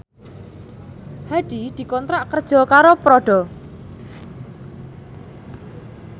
Hadi dikontrak kerja karo Prada